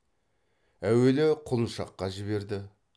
әуелі құлыншаққа жіберді